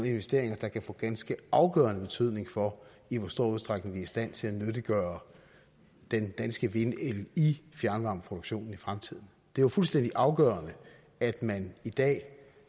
investeringer der kan få ganske afgørende betydning for i hvor stor udstrækning vi er i stand til at nyttiggøre den danske vindel i fjernvarmeproduktionen i fremtiden det er fuldstændig afgørende at man i dag